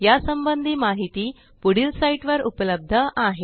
या संबंधी माहिती पुढील साईटवर उपलब्ध आहे